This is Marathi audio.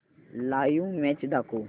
लाइव्ह मॅच दाखव